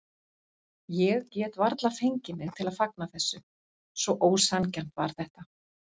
Ég gat varla fengið mig til að fagna þessu, svo ósanngjarnt var þetta.